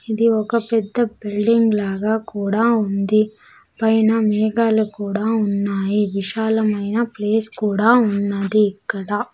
ఇది ఒక పెద్ద బిల్డింగ్ లాగా కూడా ఉంది పైన మేఘాలు కూడా ఉన్నాయి విశాలమైన ప్లేస్ కూడా ఉన్నది ఇక్కడ.